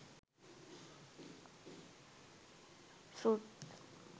fruit